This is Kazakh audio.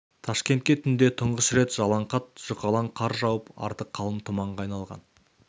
ташкентке түнде тұңғыш рет жалаңқат жұқалаң қар жауып арты қалың тұманға айналған